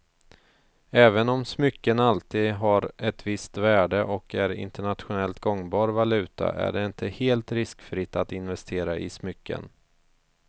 Även om smycken alltid har ett visst värde och är en internationellt gångbar valuta är det inte helt riskfritt att investera i smycken.